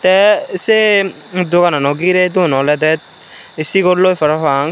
tey sei doganano girey don olodey sigolloi parapang.